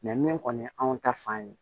min kɔni ye anw ta fan ye